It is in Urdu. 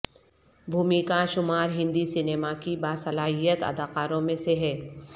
بھومی کا شمار ہندی سنیما کی باصلاحیت اداکاروں میں سے ہے